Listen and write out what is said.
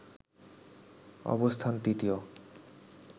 অবস্থান তৃতীয়